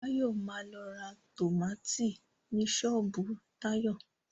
Báyọ̀ ma lọ ra tómátì ni ṣọ́ọ̀bú Táyọ̀